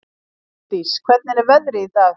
Sædís, hvernig er veðrið í dag?